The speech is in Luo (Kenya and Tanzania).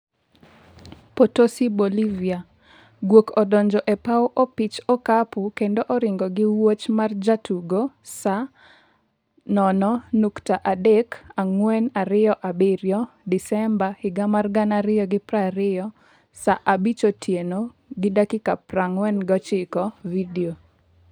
Potosi Bolivia: Gwok odonjo e paw opich okapu kendo oringo gi wuoch mar jatugo, Saa 0.3427 Disemba 2020 saa 23:49 Video